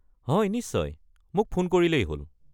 হয়, নিশ্চয়! মোক ফোন কৰিলেই হ'ল।